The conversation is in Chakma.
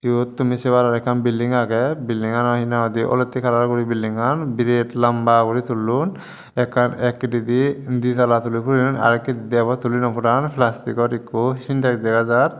iote tumi saye paror ekan bilding aagay bilding ano alotay calar guri bildinggan birate lamba guri tulone ekan ekhitadi ditala tuli purione arow ekhitadi tuli nopuran flastickor eko sintax degajar.